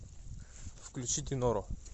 включи диноро